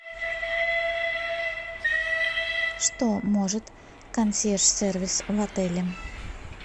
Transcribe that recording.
что может консьерж сервис в отеле